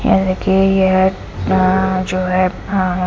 इनके यह हां जो है हां हां।